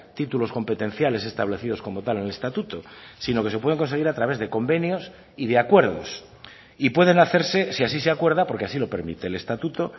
títulos competenciales establecidos como tal en el estatuto sino que se pueden conseguir a través de convenios y de acuerdos y pueden hacerse si así se acuerda porque así lo permite el estatuto